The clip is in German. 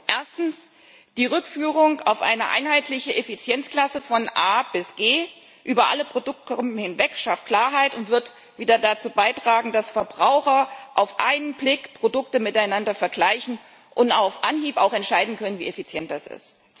Erstens Die Rückführung auf eine einheitliche Effizienzklasse von A bis G über alle Produktegruppen hinweg schafft Klarheit und wird wieder dazu beitragen, dass Verbraucher auf einen Blick Produkte miteinander vergleichen und auf Anhieb auch entscheiden können, wie effizient das ist.